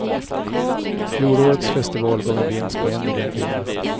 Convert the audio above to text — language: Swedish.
Fjolårets festival gav en vinst på en miljon kronor.